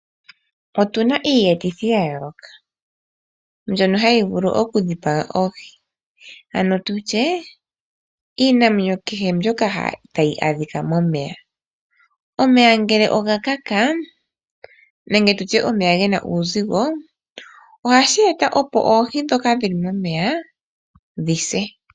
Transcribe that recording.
Otuna iiyetithi ya yoolokathana mbyono hayi vulu okudhipaga oohi nenge tu tye iinamwenyo kehe mbyoka tayi adhika momeya . Omeya ngele oga kaka nenge tu tye omeya gena uuzigo ohashi eta opo oohi ndhoka dhi li momeya dhi se.